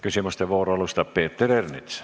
Küsimuste vooru alustab Peeter Ernits.